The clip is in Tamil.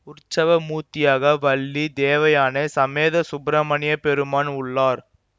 உற்சவ மூர்த்தியாக வள்ளி தேவயானை சமேத சுப்பிரமணியப்பெருமான் உள்ளார்